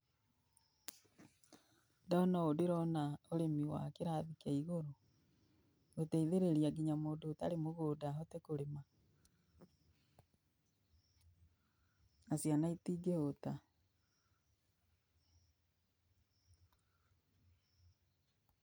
Ndona ũũ ndĩrona ũrĩmi wa kĩrathi kĩa igũrũ. Gũteithĩrĩria kinya mũndũ ũtarĩ mũgũnda ahote kũrĩma. Na ciana itingĩhũta.